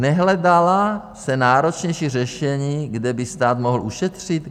Nehledala se náročnější řešení, kde by stát mohl ušetřit?